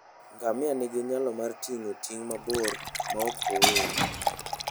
Ngamia nigi nyalo mar ting'o ting' mabor maok ool.